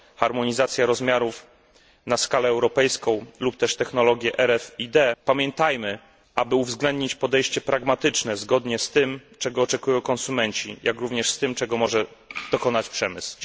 harmonizacja rozmiarów na skalę europejską lub też technologie RFiD pamiętajmy, aby uwzględnić podejście pragmatyczne zgodne z tym, czego oczekują konsumenci jak również z tym, czego może dokonać przemysł.